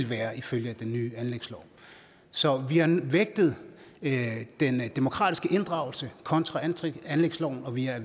være ifølge den nye anlægslov så vi har vægtet den demokratiske inddragelse kontra anlægsloven og vi er